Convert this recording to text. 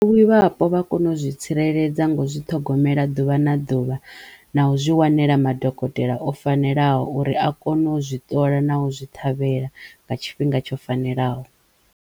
vha kono zwi tsireledza ngo zwi ṱhogomela ḓuvha na ḓuvha na u zwi wanela madokotela o fanelaho uri a kono zwi ṱola na u zwi ṱhavhela nga tshifhinga tsho fanelaho.